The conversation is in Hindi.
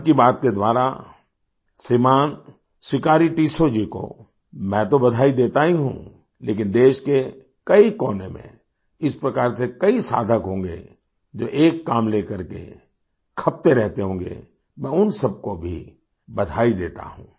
मन की बात के द्वारा श्रीमान सिकारी टिस्सौ जी को मैं तो बधाई देता ही हूँ लेकिन देश के कई कोने में इस प्रकार से कई साधक होंगे जो एक काम लेकर के खपते रहते होंगे मैं उन सबको भी बधाई देता हूँ